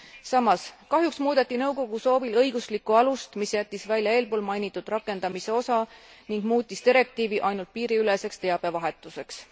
Samas kahjuks muudeti nõukogu soovil õiguslikku alust, mis jättis välja eelpoolmainitud rakendamise osa ning muutis direktiivi ainult piiriüleseks teabevahetuseks.